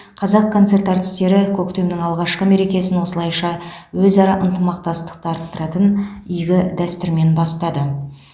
қазақконцерт әртістері көктемнің алғашқы мерекесін осылайша өзара ынтымақтастықты арттыратын игі дәстүрмен бастады